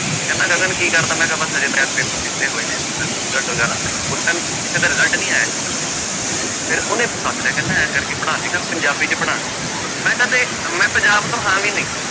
ਕਹਿੰਦਾ ਗਗਨ ਕੀ ਕਰਦਾਂ ਮੈਂ ਕਿਹਾ ਬਸ ਹਜੇ ਯਾਰ ਪੇਪਰ ਦਿੱਤੇ ਹੋਏ ਨੇ result ਵਗ਼ੈਰਾ ਆਉਣੇ ਨੇ, ਉਸ time ਕਿਸੇ ਦਾ result ਨੀ ਆਇਆ ਸੀਗਾ ਫਿਰ ਉਹਨੇ ਸੱਦ ਲਿਆ ਕਹਿੰਦਾ ਇਉਂ ਕਰਕੇ ਪੜ੍ਹਾ ਲਵੇਂਗਾ ਪੰਜਾਬੀ ਚ ਪੜ੍ਹਾਉਣਾ, ਮੈਂ ਕਿਹਾ ਤੇ ਮੈਂ ਪੰਜਾਬ ਤੋਂ ਹਾਂ ਵੀ ਨਹੀਂ।